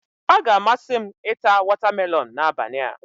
Ọ ga-amasị m ita wọtamelọn n'abalị a.